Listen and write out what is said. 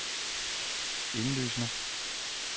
indlysende